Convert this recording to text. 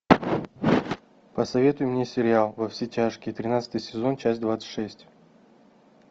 посоветуй мне сериал во все тяжкие тринадцатый сезон часть двадцать шесть